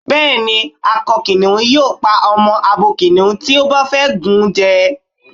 Bá́ẹ̀ ni, akọ kìnìhún yóò pa ọmọ abo kìnìhùn tí ó bá fẹ́ gùn jẹ.